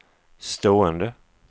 stående